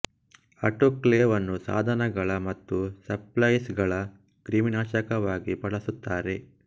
autoclave ಅನ್ನು ಸಾಧನಗಳ ಮತ್ತು ಸಪ್ಲೈಸ್ ಗಳ ಕ್ರಿಮಿನಾಶಕ ವಾಗಿ ಬಳಸುತ್ತಾರೆ